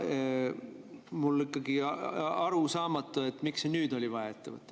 Ja mulle on ikkagi arusaamatu, miks oli just nüüd vaja see ette võtta.